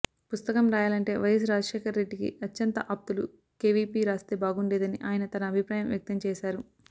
పుస్తకం రాయాలంటే వైఎస్ రాజశేఖర్ రెడ్డికి అత్యంత ఆప్తులు కేవీపీ రాస్తే బాగుండేదని ఆయన తన అభిప్రాయం వ్యక్తం చేశారు